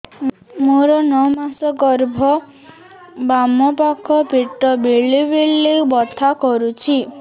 ମୋର ନଅ ମାସ ଗର୍ଭ ବାମ ପାଖ ପେଟ ବେଳେ ବେଳେ ବଥା କରୁଛି